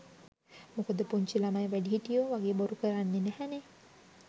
මොකද පුංචි ළමයි වැඩිහිටියෝ වගේ බොරු කරන්නේ නැහැනේ.